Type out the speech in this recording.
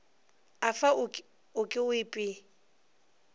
afa o ke o ipee